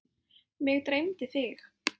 Mig dreymdi þig.